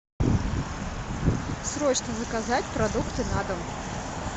срочно заказать продукты на дом